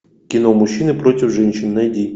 кино мужчины против женщин найди